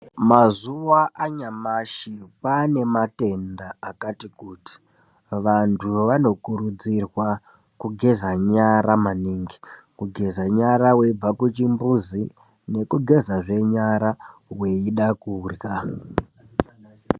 Mazuwa anyamashi kwane matenda akati kuti. Vanthu vanokurudzirwa kugeza nyara maningi, kugeza nyara weibva kuchimbuzi nekugezazve nyara weida kurya.